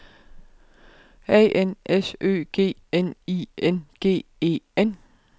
A N S Ø G N I N G E N